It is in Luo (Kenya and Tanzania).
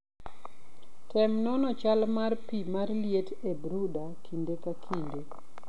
Tem nono chal mar pi mar liet e brooder kinde ka kinde.